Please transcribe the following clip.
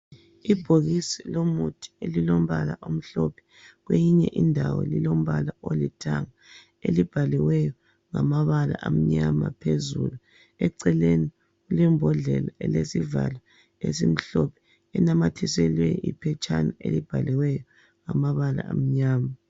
Ibhokisi lomuthi elilombala omhlophe kweyinye indawo lilombala olithanga ,elibhaliweyo ngamala amnyama phezulu eceleni kulembodlela elesivalo esimhlophe enamathiselwe iphetshana elibhaliweyo ngama bala amnyama.